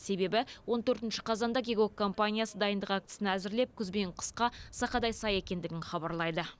себебі он төртінші қазанда кегок компаниясы дайындық актісін әзірлеп күз бен қысқа сақадай сай екендігін хабарлайды